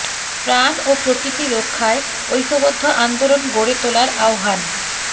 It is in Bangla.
প্রাণ ও প্রকৃতি রক্ষায় ঐক্যবদ্ধ আন্দোলন গড়ে তোলার আহ্বান